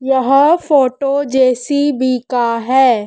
यह photo JCB का है।